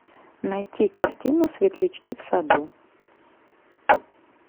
найти картину светлячки в саду